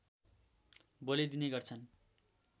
बलि दिने गर्छन्